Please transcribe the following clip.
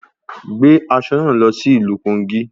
Gbé aṣọ náà lọ sí ìlú Kogi